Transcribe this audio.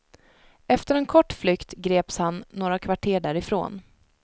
Efter en kort flykt greps han några kvarter därifrån.